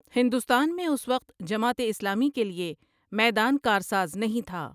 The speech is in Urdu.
ہندوستان میں اس وقت جماعت اسلامی کے لئے میدان کارساز نہیں تھا ۔